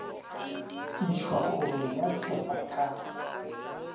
išwa kgorong ya tsheko ka